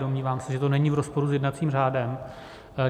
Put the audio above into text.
Domnívám se, že to není v rozporu s jednacím řádem.